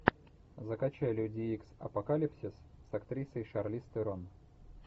закачай люди икс апокалипсис с актрисой шарлиз терон